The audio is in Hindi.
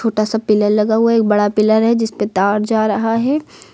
छोटा सा पिल्लर लगा हुआ है एक बड़ा पिल्लर है जिसपे तार जा रहा है।